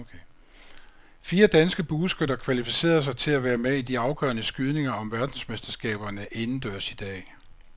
Fire danske bueskytter kvalificerede sig til at være med i de afgørende skydninger om verdensmesterskaberne indendørs i dag.